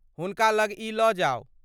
हुनका लग ई लऽ जाउ।